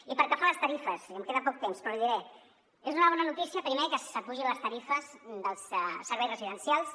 i pel que fa a les tarifes i em queda poc temps però l’hi diré és una bona notícia primer que s’apugin les tarifes dels serveis residencials